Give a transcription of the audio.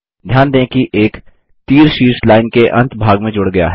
ध्यान दें कि एक तीर शीर्ष लाइन के अंत भाग में जुड़ गया है